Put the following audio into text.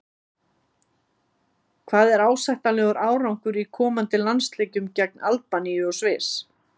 Hvað er ásættanlegur árangur í komandi landsleikjum gegn Albaníu og Sviss?